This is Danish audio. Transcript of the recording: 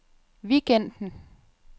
weekenden